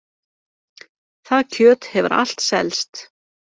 Það kjöt hefur allt selst